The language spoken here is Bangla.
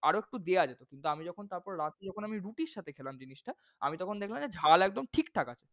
আরও একটু দেয়া যেতো। কিন্তু আমি যখন তারপর রাত্রে যখন রুটির সাথে খেলাম জিনিসটা আমি তখন দেখলাম যে ঝাল একদম ঠিকঠাক আছে।